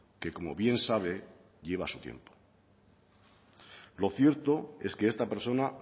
que como bien sabe lleva su tiempo lo cierto es que esta persona